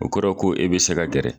O kɔrɔ ko e bɛ se ka gɛrɛ.